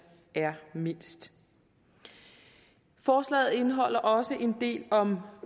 er mindst forslaget indeholder også en del om